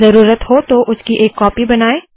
ज़रूरत हो तो उसकी एक कॉपी बनाए